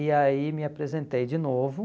E aí me apresentei de novo.